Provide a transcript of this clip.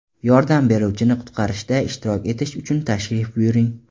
Yordam beruvchini qutqarishda ishtirok etish uchun tashrif buyuring!